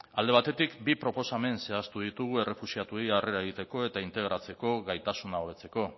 alde batetik bi proposamen zehaztu ditugu errefuxiatuei harrera egiteko eta integratzeko gaitasuna hobetzeko